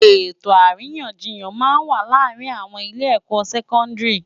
Etó árinyánjiyán má n wá làárin âwòn ilé èkò sèkòndiri